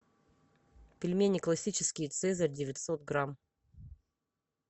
пельмени классические цезарь девятьсот грамм